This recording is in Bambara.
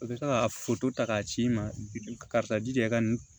U bɛ se ka foto ta k'a ci i ma karisa jija i ka nin